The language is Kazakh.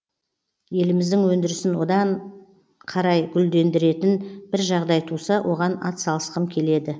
еліміздің өндірісін одан қарай гүлдендіретін бір жағдай туса оған атсалысқым келеді